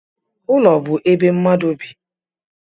Ụlọ bụ ebe mmadu bị